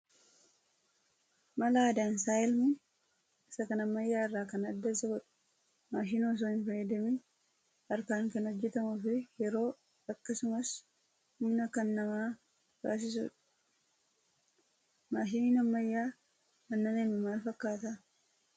mala aadaan sa'a elmuun isa kan ammayyaa irraa kan adda isa godhu maashina osoo hin fayyadamiin harkaan kan hojjatamuu fi yeroo akkasumas humna kan nama baasisudha. Maashiniin ammayyaa aannan elmu maal fakkaataa?